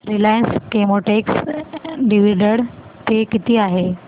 Reliance Chemotex dividend pay किती आहे